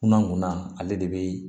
Kunna kunna ale de bɛ